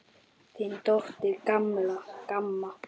Þín dóttir, Kamma.